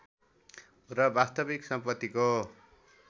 र वास्तविक सम्पत्तिको